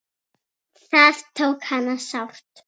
Það tók hana sárt.